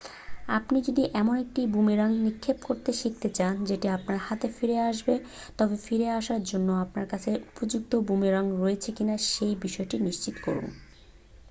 আপনি যদি এমন একটি বুমেরাং নিক্ষেপ করতে শিখতে চান যেটি আপনার হাতে ফিরে আসবে তবে ফিরে আসার জন্য আপনার কাছে উপযুক্ত বুমেরাং রয়েছে কিনা সে বিসয়টি নিশ্চিত করুন